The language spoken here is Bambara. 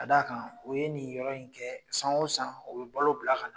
Ka d'a kan u ye nin yɔrɔ in kɛ , san o san, o bɛ balo bila ka nan.